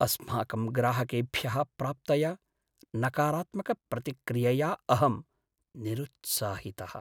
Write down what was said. अस्माकं ग्राहकेभ्यः प्राप्तया नकारात्मकप्रतिक्रियया अहं निरुत्साहितः।